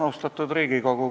Austatud Riigikogu!